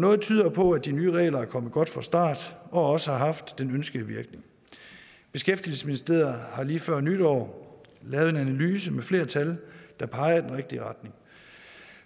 noget tyder på at de nye regler er kommet godt fra start og også har haft den ønskede virkning beskæftigelsesministeriet har lige før nytår lavet en analyse med flere tal der peger i den rigtige retning